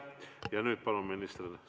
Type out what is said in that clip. Ja nüüd palun, minister!